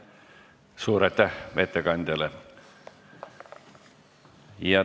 Suur aitäh ettekandjale!